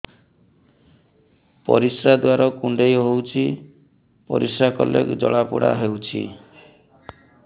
ପରିଶ୍ରା ଦ୍ୱାର କୁଣ୍ଡେଇ ହେଉଚି ପରିଶ୍ରା କଲେ ଜଳାପୋଡା ହେଉଛି